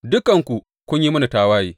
Dukanku kun yi mini tawaye,